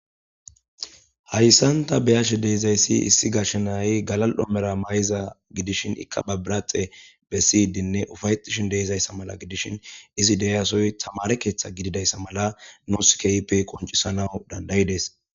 hayssanta beyashe deezayssi issi gashenay galal7omera may7iza gidishin ikkapabiraxe bessiydinne ufayetishin deeizayssa mala gidishin izi deyasoy tamare keeththa gididayssa mala nooskeype qoncisana dandayi dees